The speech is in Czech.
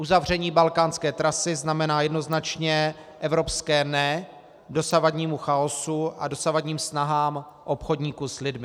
Uzavření balkánské trasy znamená jednoznačně evropské NE dosavadnímu chaosu a dosavadním snahám obchodníků s lidmi.